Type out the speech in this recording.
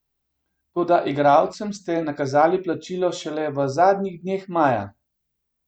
Toda igralcem ste nakazali plačilo šele v zadnjih dneh maja.